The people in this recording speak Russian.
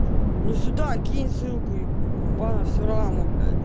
ну сюда кинь ссылку на все равно